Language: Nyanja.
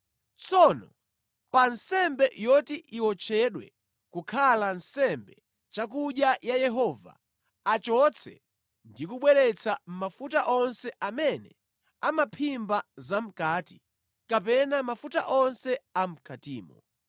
Tsono pa nsembe yoti iwotchedwe kukhala nsembe chakudya ya Yehova, achotse ndi kubweretsa: mafuta onse amene amaphimba zamʼkati kapena mafuta onse a mʼkatimo,